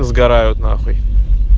сгорают н